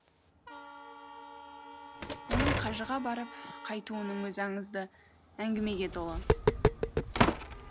оның қажыға барып қайтуының өзі аңызды әңгімеге толы